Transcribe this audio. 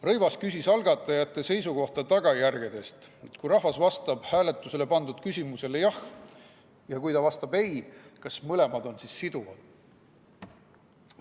Rõivas küsis algatajate seisukohta tagajärgede suhtes: kui rahvas vastab hääletusele pandud küsimusele jah ja kui ta vastab ei, kas mõlemad on siis siduvad?